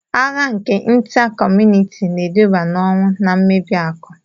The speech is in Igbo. Agha nke Ịnta kọmunịti na-eduba n'ọnwụ na mmebi akụ